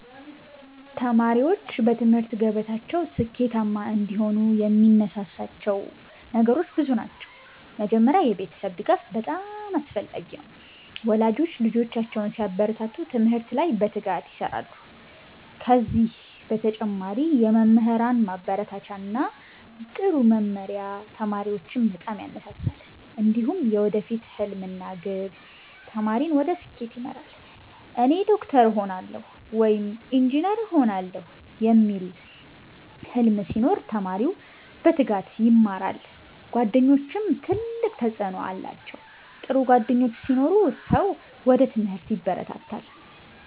ተማሪዎች በትምህርት ገበታቸው ስኬታማ እንዲሆኑ የሚያነሳሳቸው ነገሮች ብዙ ናቸው። መጀመሪያ የቤተሰብ ድጋፍ በጣም አስፈላጊ ነው፤ ወላጆች ልጆቻቸውን ሲያበረታቱ ትምህርት ላይ በትጋት ይሰራሉ። ከዚህ በተጨማሪ የመምህራን ማበረታቻ እና ጥሩ መመሪያ ተማሪዎችን በጣም ያነሳሳል። እንዲሁም የወደፊት ሕልም እና ግብ ተማሪን ወደ ስኬት ይመራል። “እኔ ዶክተር እሆናለሁ” ወይም “ኢንጂነር እሆናለሁ” የሚል ሕልም ሲኖር ተማሪው በትጋት ይማራል። ጓደኞችም ትልቅ ተጽዕኖ አላቸው፤ ጥሩ ጓደኞች ሲኖሩ ሰው ወደ ትምህርት ይበረታታል።